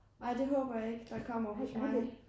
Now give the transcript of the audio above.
Ej det håber jeg ikke der kommer hos mig